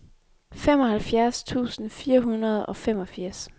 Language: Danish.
femoghalvfjerds tusind fire hundrede og femogfirs